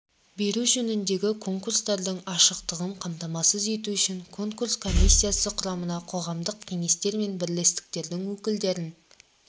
беру жөніндегі конкурстардың ашықтығын қамтамасыз ету үшін конкурс комиссиясы құрамына қоғамдық кеңестер мен бірлестіктердің өкілдерін